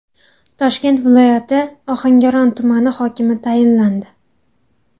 Toshkent viloyati Ohangaron tumani hokimi tayinlandi.